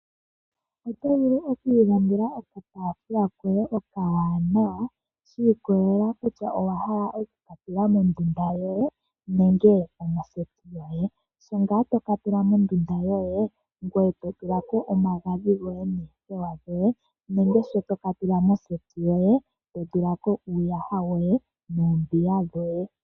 Oto vulu oku ilandela okataafula koye okawanawa shi ikolelelela kutya owa hala okuka tula mondundu yoye nenge omoseti yoye. Sho ngaa toka tula mondundu yoye ngoye to tulako omagadhi goye noothewa dhoye nenge sho toka tula moseti yoye to tulako uuyaha woye noombiga dhoye.